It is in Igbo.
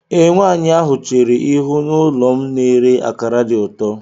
Ee, nwanyị ahụ chéré ihu n'ụlọ m na-èré akara dị ụtọ